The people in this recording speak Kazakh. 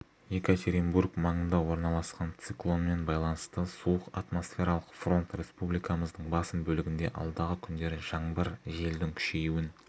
екатеринбург маңында орналасқан циклонмен байланысты суық атмосфералық фронт республикамыздың басым бөлігінде алдағы күндері жаңбыр желдің күшеюін